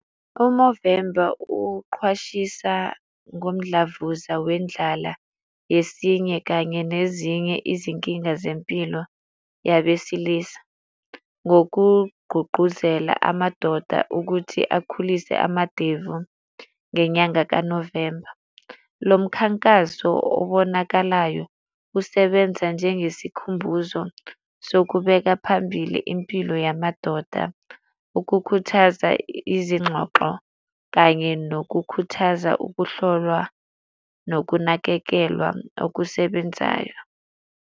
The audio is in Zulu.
U-Movember uqhwashisa ngomdlavuza wendlala yesinye kanye nezinye izinkinga zempilo yabesilisa, ngokugqugquzela amadoda ukuthi akhulise amadevu ngenyanga ka-November. Lo mkhankaso obonakalayo usebenza njengesikhumbuzo sokubeka phambili impilo yamadoda. Ukukhuthaza izingxoxo kanye nokukhuthaza ukuhlolwa nokunakekelwa okusebenzayo.